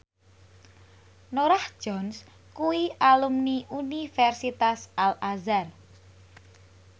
Norah Jones kuwi alumni Universitas Al Azhar